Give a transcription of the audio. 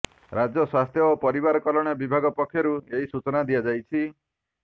ରାଜ୍ୟ ସ୍ବାସ୍ଥ୍ୟ ଓ ପରିବାର କଲ୍ୟାଣ ବିଭାଗ ପକ୍ଷରୁ ଏହି ସୂଚନା ଦିଆଯାଇଛି